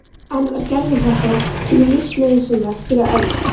En var gervihjartað lífsnauðsynlegt fyrir Örn?